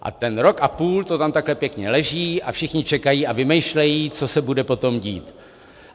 A ten rok a půl to tam takhle pěkně leží a všichni čekají a vymýšlejí, co se bude potom dít.